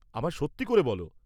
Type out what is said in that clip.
আমায় সত্যি করে বল।